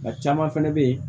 A caman fɛnɛ bɛ ye